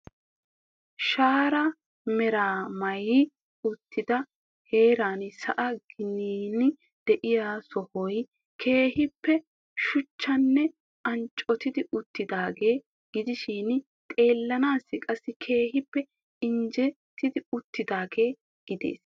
Shaara meraa maayi uttida heeran sa'aa ginan de'iyaa sohoy keehippe shuchchanne anccoti utiidaaga gidishin xeellanassi qassi keehippe injjetti uttidaaga gidees.